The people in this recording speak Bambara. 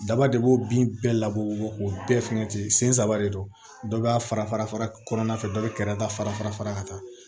Daba de b'o bin bɛɛ labɔ o bɛɛ fɛngɛ ten sen saba de don dɔ b'a fara fara kɔnɔna fɛ dɔ bɛ kɛrɛda ta fara fara ka taa